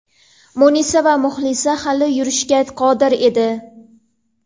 Munisa va Muxlisa hali yurishga qodir edi.